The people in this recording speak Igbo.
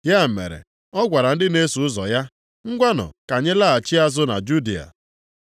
Ya mere, ọ gwara ndị na-eso ụzọ ya, “Ngwanụ ka anyị laghachi azụ na Judịa.”